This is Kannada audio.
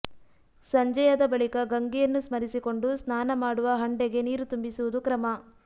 ಸಂಜೆ ಯಾದ ಬಳಿಕ ಗಂಗೆಯನ್ನು ಸ್ಮರಿಸಿಕೊಂಡು ಸ್ನಾನ ಮಾಡುವ ಹಂಡೆಗೆ ನೀರು ತುಂಬಿಸುವುದು ಕ್ರಮ